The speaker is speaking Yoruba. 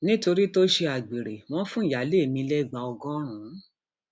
nítorí tó ṣe um àgbèrè wọn fún ìyáálé um ilé lẹgba ọgọrùn